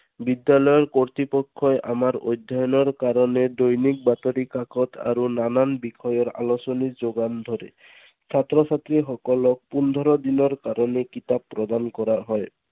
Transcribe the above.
বিদ্যালয়ৰ কৰ্তৃপক্ষই আমাৰ অধ্যয়ণৰ কাৰণে দৈনিক বাতৰি কাকত আৰু নানান বিষয়ৰ আলোচনী যোগান ধৰে। ছাত্ৰ ছাত্ৰীসকলক পোন্ধৰ দিনৰ কাৰণে কিতাপ প্ৰদান কৰা হয়।